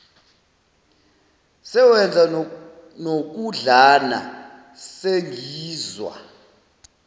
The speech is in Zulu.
sewenza nokudlana sengizwa